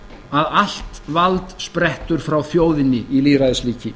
að allt vald sprettur frá þjóðinni í lýðræðisríki